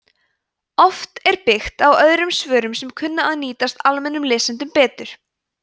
oft er byggt á öðrum svörum sem kunna að nýtast almennum lesendum betur